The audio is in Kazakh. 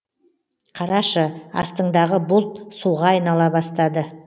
қарашы астыңдағы бұлт суға айнала бастады